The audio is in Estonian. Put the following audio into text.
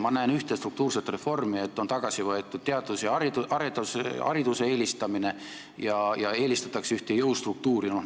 Ma näen ühte struktuurset reformi: on loobutud teaduse ja hariduse eelistamisest ja eelistatakse ühte jõustruktuuri.